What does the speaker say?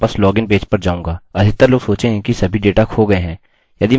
अधिकतर लोग सोचेंगे कि सभी डेट खो गया है